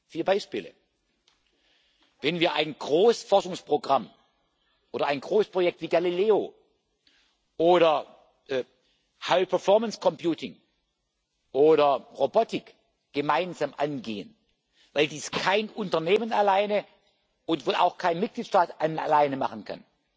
Vier Beispiele Wenn wir ein Großforschungsprogramm oder ein Großprojekt wie Galileo oder Hochleistungsrechentechnik oder Robotik gemeinsam angehen, weil dies kein Unternehmen alleine und wohl auch kein Mitgliedstaat alleine machen kann,